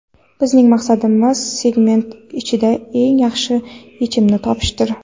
Bizning maqsadimiz segment ichida eng yaxshi yechimni topishdir.